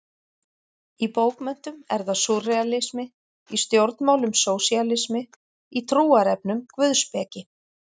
Í bókmenntum er það súrrealismi, í stjórnmálum sósíalismi, í trúarefnum guðspeki.